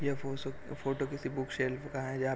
ये फोसु किसी बुक सेल्फ का है जहाँ पे--